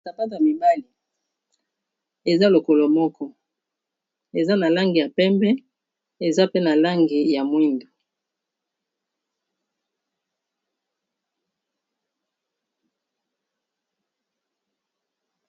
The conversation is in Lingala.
sapato ya mibali eza lokolo moko eza na langi ya pembe ,eza pe na langi, ya moindo.